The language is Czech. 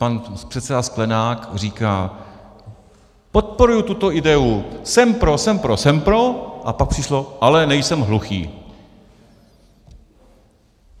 Pan předseda Sklenák říká: Podporuji tuto ideu, jsem pro, jsem pro, jsem pro - a pak přišlo, ale nejsem hluchý.